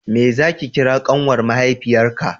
meye za ki kira ƙanwar mahaifiyar ka